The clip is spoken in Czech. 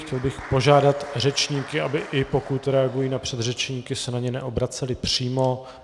Chtěl bych požádat řečníky, aby i pokud reagují na předřečníky, se na ně neobraceli přímo.